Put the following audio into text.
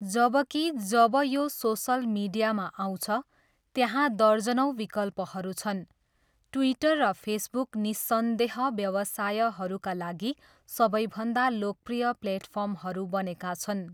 जबकि जब यो सोसल मिडियामा आउँछ, त्यहाँ दर्जनौँ विकल्पहरू छन्, ट्विटर र फेसबुक निस्सन्देह व्यवसायहरूका लागि सबैभन्दा लोकप्रिय प्लेटफर्महरू बनेका छन्।